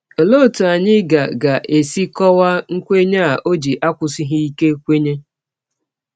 Ọlee ọtụ anyị ga ga - esi kọwaa nkwenye a ọ ji akwụsighị ike kwenye?